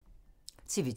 TV 2